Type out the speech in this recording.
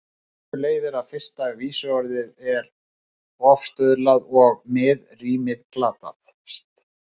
Af þessu leiðir að fyrsta vísuorð er ofstuðlað og miðrímið glatast.